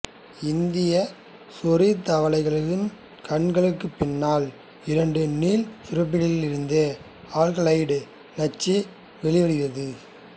இந்தியச் சொறித்தவளை கண்களுக்குப் பின்னால் இரண்டு நீள் சுரப்பிகளிருந்து ஆல்கலாய்டு நச்சு வெளிவருகிறது